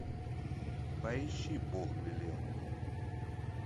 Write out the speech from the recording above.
поищи бог велел мне